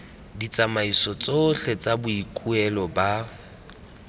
ditsamaiso tsotlhe tsa boikuelo ba